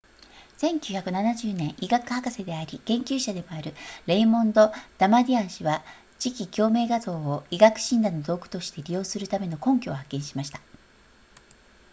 1970年医学博士であり研究者でもあるレイモンドダマディアン氏は磁気共鳴画像を医学診断の道具として利用するための根拠を発見しました